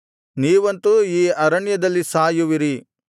ನೀವಂತೂ ಈ ಅರಣ್ಯದಲ್ಲಿ ಸಾಯುವಿರಿ